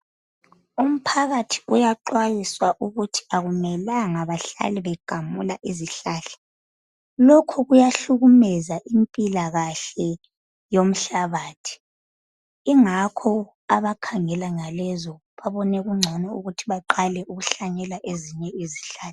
Umphakathi uyaxwayiswa ukuthi akumelanga bahlala begamula izihlahla lokhu kuyahlukumeza impilakahle yomhlabathi ingakho abakhangela ngalezo babone kugcono ukuthi baqale ukuhlanyela ezinye izihlahla.